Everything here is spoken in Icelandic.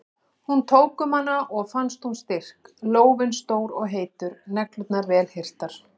Hún tók um hana og fannst hún styrk, lófinn stór og heitur, neglurnar vel hirtar.